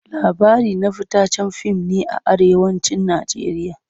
Labari na fitaccen fim ne a Arewacin Najeriya.